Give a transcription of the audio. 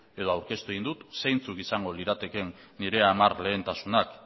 edo aurkeztu egin dut zeintzuk izango liratekeen nire hamar lehentasunak